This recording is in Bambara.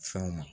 Fɛnw ma